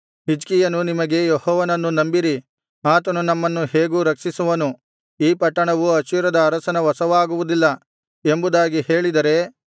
ಹಿಜ್ಕೀಯನು ನಿಮಗೆ ಯೆಹೋವನನ್ನು ನಂಬಿರಿ ಆತನು ನಮ್ಮನ್ನು ಹೇಗೋ ರಕ್ಷಿಸುವನು ಈ ಪಟ್ಟಣವು ಅಶ್ಶೂರದ ಅರಸನ ವಶವಾಗುವುದಿಲ್ಲ ಎಂಬುದಾಗಿ ಹೇಳಿದರೆ